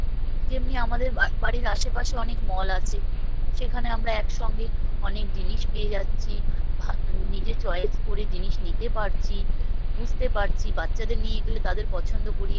যেমনি আমাদের বাড়ির আসে পাশে অনেক mall আছে সেখানে আমরা একসঙ্গে অনেক জিনিস পেয়ে যাচ্ছি ভা নিজে choice করে জিনিস নিতে পারছি বুঝতে পারছি বাচ্ছাদের নিয়ে গেলে তাদের পছন্দ করিয়ে